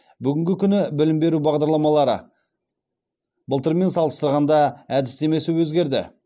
бүгінгі күні білім беру бағдарламалары былтырмен салыстырғанда әдістемесі өзгерді